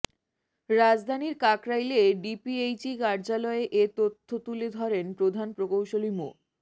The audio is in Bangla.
রাজধানীর কাকরাইলে ডিপিএইচই কার্যালয়ে এ তথ্য তুলে ধরেন প্রধান প্রকৌশলী মো